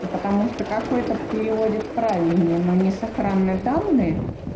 потому что какой то переводит правильнее но не сохранны данные